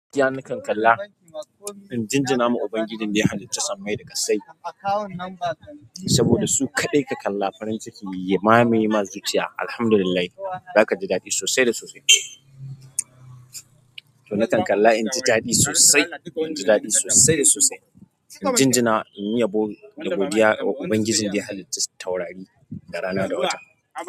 Iya nakan kalla, inji na ma Ubangijin da ya halicci sammai da kasai saboda su kaɗai ka kalla farin ciki ya mamaye ma zuciya. Alhamdulillah, zaka ji daɗi sosai da sosai. Don nakan kalla inji daɗi sosai, inji daɗi sosai da sosai. Inji na in yi yabo da godiya wa Ubangijin da ya halicci taurari da rana da wata.